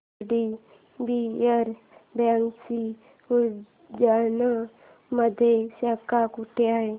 IDBI बँकेची उज्जैन मध्ये शाखा कुठे आहे